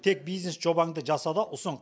тек бизнес жобаңды жаса да ұсын